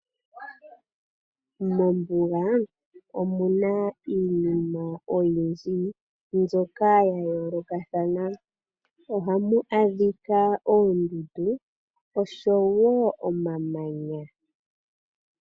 Mombuga omuna iinima oyindji mbyoka ya yoolokathana. Ohamu adhika oondundu osho woo omamanya.